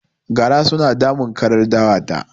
Gara suna damun karar dawa ta